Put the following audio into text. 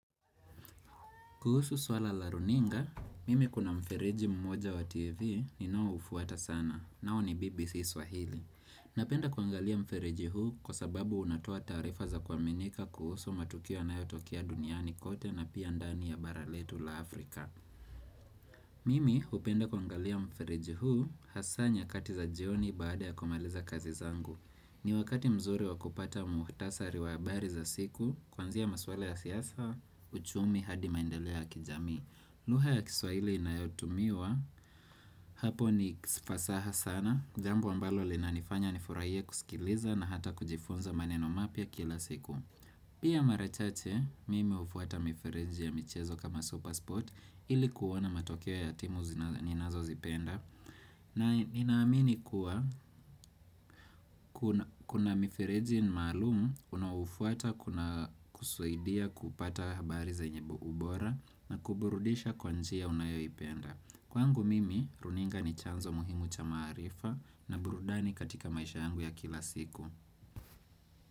Kuhusu swala la runinga, mimi kuna mfereji mmoja wa TV ninaoufuata sana, nayo ni BBC Swahili. Napenda kuangalia mfereji huu kwa sababu unatoa taarifa za kuaminika kuhusu matukio yanayotokea duniani kote na pia ndani ya bara letu la Afrika. Mimi hupenda kuangalia mfereji huu hasa nyakati za jioni baada ya kumaliza kazi zangu. Ni wakati mzuri wa kupata muhtasari wa habari za siku, kuanzia maswala ya siyasa, uchumi hadi maendelea ya kijamii Luha ya kiswahili inayotumiwa, hapo ni fasaha sana, jambo ambalo linanifanya nifuraie kusikiliza na hata kujifunza maneno mapya kila siku Pia mara chache, mimi hufuata mifereji ya michezo kama Supersport, ili kuona matokeo ya timu ninazozipenda na ninaamini kuwa kuna mifereji ni maalumu unaoufuata kuna kusaidia kupata habari za yenye bogu bora na kuburudisha kwa njia unayoipenda. Kwangu mimi, runinga ni chanzo muhimu cha maarifa na burudani katika maisha yangu ya kila siku.